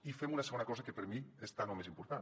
i fem una segona cosa que per mi és tan o més important